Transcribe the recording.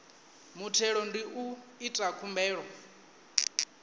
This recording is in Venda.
muthelo ndi u ita khumbelo